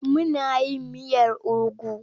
Muna yin miyar ugu.